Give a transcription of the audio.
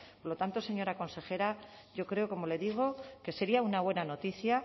por lo tanto señora consejera yo creo como le digo que sería una buena noticia